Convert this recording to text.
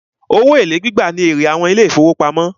Owó èlé gbígbà ní èrè àwọn ilé ìfọwọ́pamo.